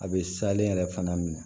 A bɛ salen yɛrɛ fana minɛ